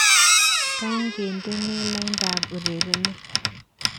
Kaay kendene laindab urerenet